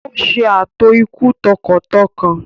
Ó ṣe ààtò ikú tọkàntọkàn.